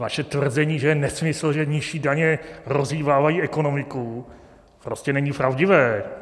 Vaše tvrzení, že je nesmysl, že nižší daně rozhýbávají ekonomiku, prostě není pravdivé.